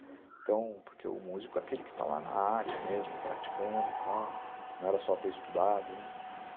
Então, porque o músico é aquele que está lá na área mesmo, praticando e tal, não era só ter estudado, né?